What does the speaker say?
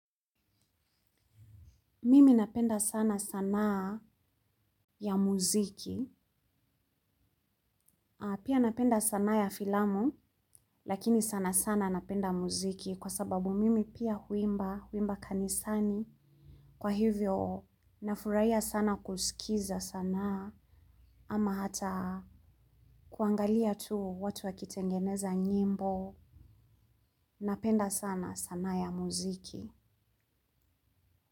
Mimi napenda sana sanaa ya muziki, pia napenda sanaa ya filamu lakini sana sana napenda muziki kwa sababu mimi pia huimba, huimba kanisani kwa hivyo nafurahia sana kusikiza sanaa ama hata kuangalia tu watu wakitengeneza nyimbo, napenda sana sanaa ya muziki.